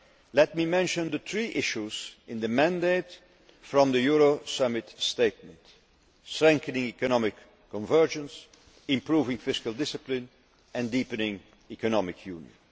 Let me mention the three issues in the mandate from the Euro Summit statement strengthening economic convergence, improving fiscal discipline and deepening economic union.